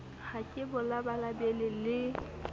ha ke bo labalabele le